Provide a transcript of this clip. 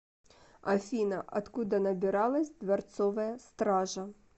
афина откуда набиралась дворцовая стража